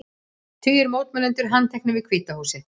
Tugir mótmælenda handteknir við Hvíta húsið